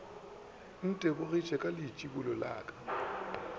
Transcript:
ntebogiša ka leitšibulo la ka